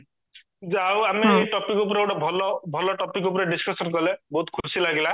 ଯୋଉ ଆଉ ଆମେ ଏଇ topic ଉପରେ ଗୋଟେ ଭଲ ଭଲ topic ଉପରେ discussion କାଲେ ବହୁତ ଖୁସି ଲାଗିଲା